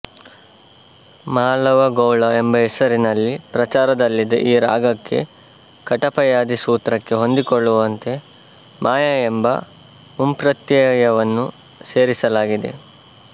ಮಾಳವಗೌಳ ಎಂಬ ಹೆಸರಿನಲ್ಲಿ ಪ್ರಚಾರದಲ್ಲಿದ್ದ ಈ ರಾಗಕ್ಕೆ ಕಟಪಯಾದಿ ಸೂತ್ರಕ್ಕೆ ಹೊಂದಿಕೊಳ್ಳುವಂತೆ ಮಾಯಾ ಎಂಬ ಮುಂಪ್ರತ್ಯಯವನ್ನು ಸೇರಿಸಲಾಗಿದೆ